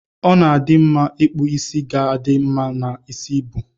Ọna adi mma ipkụ isi ga adi mma na isi ibu.